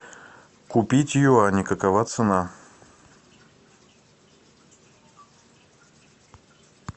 купить юани какова цена